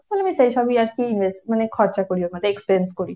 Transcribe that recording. তাহলে আমি সেইসবই আরকি invest মানে খরচা করি ওখানে, expense করি।